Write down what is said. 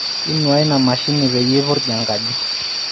inuaa ina mashini peyie irpiju enkaji